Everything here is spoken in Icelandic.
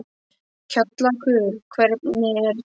Kjallakur, hvernig er dagskráin?